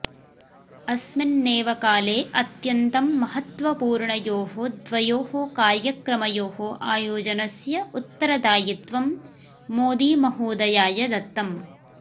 अस्मिन्नेव काले अत्यन्तं महत्वपूर्णयोः द्वयोः कार्यक्रमयोः आयोजनस्य उत्तरदायित्वं मोदीमहोदयाय दत्तम्